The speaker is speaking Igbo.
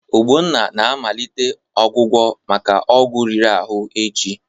Ogbonna na-amalite ọgwụgwọ maka ọgwụ riri ahụ echi.